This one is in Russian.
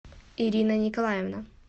ирина николаевна